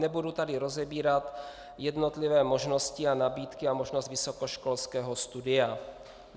Nebudu tady rozebírat jednotlivé možnosti a nabídky a možnost vysokoškolského studia.